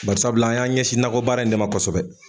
Barisabula an y'an ɲɛsin nagɔ baara in de ma kɔsɔbɛ.